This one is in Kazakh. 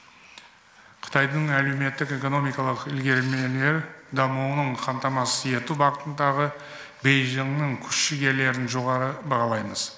қытайдың әлеуметтік экономикалық ілгерілемелі дамуының қамтамасыз ету бағытындағы бейжіңнің күш жігерлерін жоғары бағалаймыз